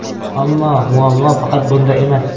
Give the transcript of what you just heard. Ammo muammo faqat bunda emas.